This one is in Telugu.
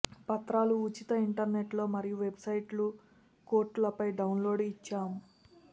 పత్రాలు ఉచిత ఇంటర్నెట్ లో మరియు వెబ్సైట్లు కోర్టులపై డౌన్లోడ్ ఇచ్చాం